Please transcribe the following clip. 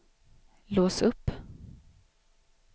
lås upp